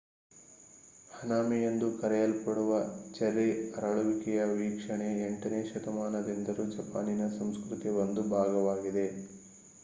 ಹನಾಮಿ ಎಂದು ಕರೆಯಲ್ಪಡುವ ಚೆರ್ರಿ ಅರಳುವಿಕೆಯ ವೀಕ್ಷಣೆ 8 ನೇ ಶತಮಾನದಿಂದಲೂ ಜಪಾನಿನ ಸಂಸ್ಕೃತಿಯ ಒಂದು ಭಾಗವಾಗಿದೆ